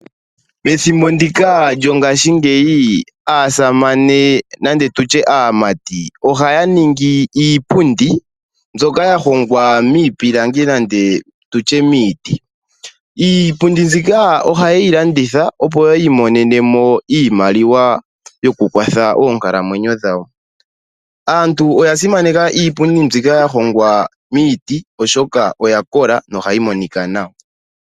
Methimbo ndika lyongaashingeyi aasamane nenge aamati ohaya ningi iipundi mbyoka yahongwa miipilangi nenge miiti. Iipundi mbyika ohayeyi landitha opo yiimonenemo iimaliwa yokukwatha oonkalamwenyo dhawo. Aantu oyasimaneka iipundi mbyika yahongwa miiti oshoka oyakola nohayi monika nawa.